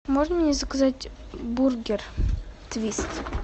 можно мне заказать бургер твист